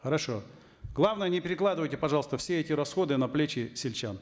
хорошо главное не перекладывайте пожалуйста все эти расходы на плечи сельчан